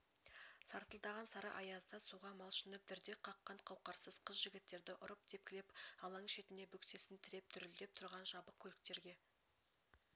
сартылдаған сары аязда суға малшынып дірдек қаққан қауқарсыз қыз-жігіттерді ұрып-тепкілеп алаң шетіне бөксесін тіреп дүрілдеп тұрған жабық көліктерге